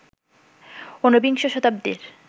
উনবিংশ শতাব্দীর